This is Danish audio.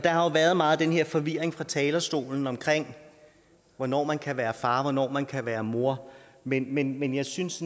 har jo været meget af den her forvirring fra talerstolen omkring hvornår man kan være far og hvornår man kan være mor men men jeg synes